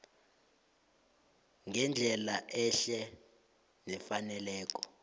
ngendlela ehle nefaneleko